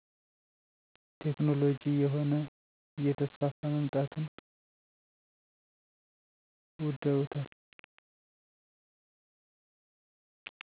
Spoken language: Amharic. ቴክኖሎጅ እየሆነ እየተስፋፋ መምጣቱን ውደውታል